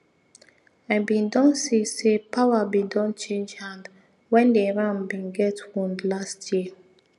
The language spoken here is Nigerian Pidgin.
i bin don see say power bin don change hand when the ram bin get wound last year